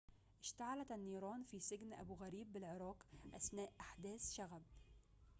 اشتعلت النيران في سجن أبو غريب بالعراق أثناء أحداث شغب